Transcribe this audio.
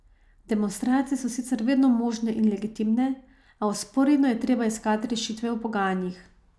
Demonstracije so sicer vedno možne in legitimne, a vzporedno je treba iskati rešitve v pogajanjih.